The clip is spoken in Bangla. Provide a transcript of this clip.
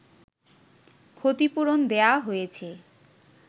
ক্ষতিপূরণ দেয়া হয়েছে